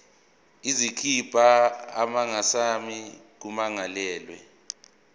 izokhipha amasamanisi kummangalelwa